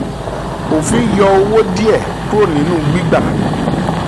òfin yọ owó díẹ̀ kúrò nínú gbígbà